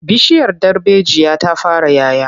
Bishiyar darbejiya ta fara 'ya 'ya.